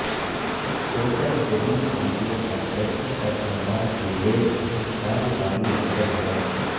hotel جدید video conferencing کا سامان سے لیس ایک کاروباری مرکز ہے